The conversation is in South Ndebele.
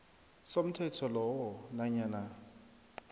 somthetho lowo nanyana